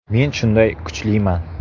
Men shunday kuchliman.